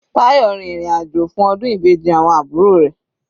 Tayo rin ìrìn àjò fún ọdún Ìbejì awọn àbúrò rẹ̀.